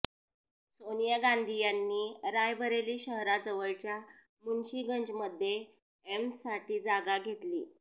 सोनिया गांधी यांनी रायबरेली शहराजवळच्या मुन्शी गंजमध्ये एम्स साठी जागा घेतली